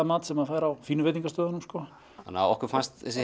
mat sem maður fær á fínu veitingahúsunum okkur fannst þessi